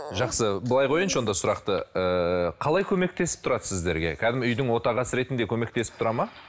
жақсы былай қояйыншы онда сұрақты ыыы қалай көмектесіп тұрады сіздерге кәдімгі үйдің отағасы ретінде көмектесіп тұрады ма